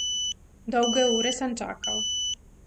Dolge ure sem čakal.